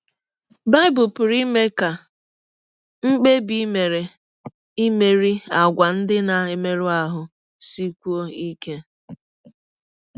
Bible pụrụ ime ka mkpebi i mere imerị àgwà ndị na - emerụ ahụ sikwụọ ike